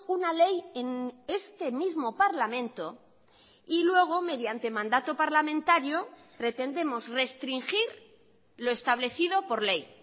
una ley en este mismo parlamento y luego mediante mandato parlamentario pretendemos restringir lo establecido por ley